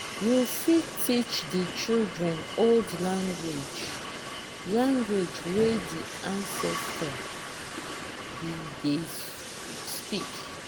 you fit teach di children old language language wey di ancestor be dey speak